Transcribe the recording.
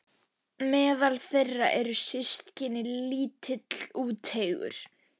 Meðal þeirra eru systkini- lítill, úteygur